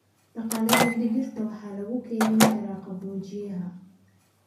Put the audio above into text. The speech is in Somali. Dalagyada digirta waxaa lagu keydin karaa qaboojiyaha.